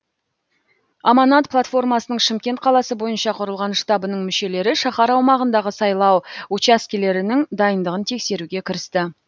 аманат платформасының шымкент қаласы бойынша құрылған штабының мүшелері шаһар аумағындағы сайлау учаскелерінің дайындығын тексеруге кірісті